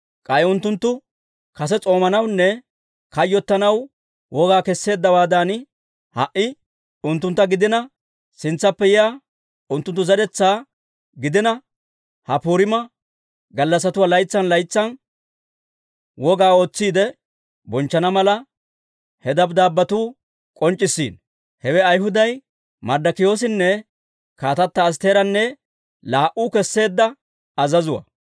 K'ay unttunttu kase s'oomanawunne kayyottanaw wogaa kesseeddawaadan, ha"i unttuntta gidina, sintsappe yiyaa unttunttu zeretsaa gidina, ha Puriima gallassatuwaa laytsan laytsan wogaa ootsiide bonchchana mala, he dabddaabbetuu k'onc'c'issiino. Hewe Ayhuday Marddokiyoosinne kaatata Astteeranne laa"u kesseedda azazuwaa.